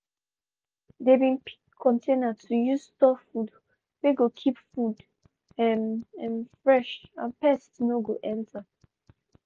they been pick container to use store food wey go keep food um um fresh and pest no go enter.